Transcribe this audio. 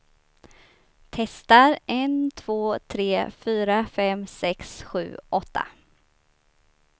Testar en två tre fyra fem sex sju åtta.